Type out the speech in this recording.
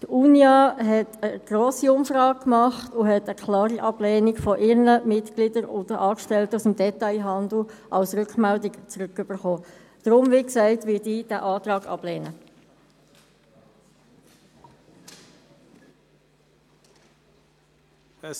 Die Unia führte eine grosse Umfrage durch und erhielt von ihren Mitgliedern und den Angestellten des Detailhandels als Rückmeldung eine klare Ablehnung.